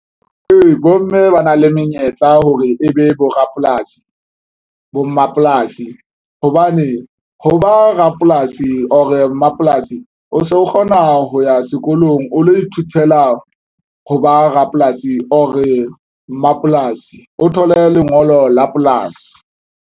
Ee, bomme ba na le menyetla hore e be borapolasi bo mmapolasi hobane ho ba rapolasi or mmapolasi o so kgona ho ya sekolong o lo ithutela ho ba rapolasi or-e mmapolasi o thole lengolo la polasi